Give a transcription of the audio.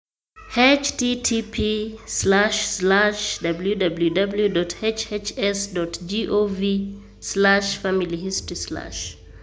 http://www.hhs.gov/familyhistory/